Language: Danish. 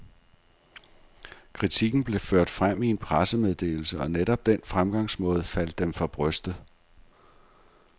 Kritikken blev ført frem i en pressemeddelse, og netop den fremgangsmåde faldt dem for brystet.